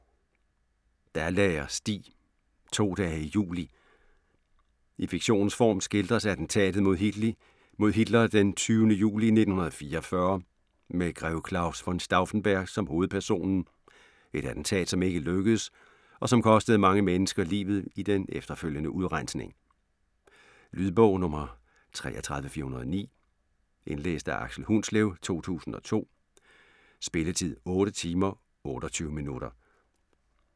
Dalager, Stig: To dage i juli I fiktionens form skildres attentatet mod Hitler den 20. juli 1944, med grev Claus von Stauffenberg som hovedpersonen, et attentat som ikke lykkedes, og som kostede mange mennesker livet i den efterfølgende udrensning. Lydbog 33409 Indlæst af Aksel Hundslev, 2002. Spilletid: 8 timer, 28 minutter.